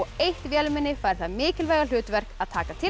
eitt vélmenni fær það mikilvæga hlutverk að taka til